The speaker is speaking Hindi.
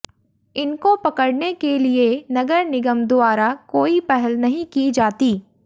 इनको पकड़ने के लिए नगर निगम द्वारा कोई पहल नहीं की जाती